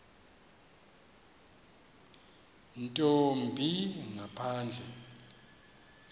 nto yimbi ngaphandle